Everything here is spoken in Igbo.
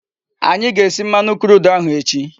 Anyi ga-esi mmanu crude ahu echi